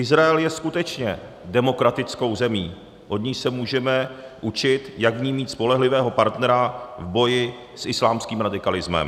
Izrael je skutečně demokratickou zemí, od níž se můžeme učit, jak v ní mít spolehlivého partnera v boji s islámským radikalismem.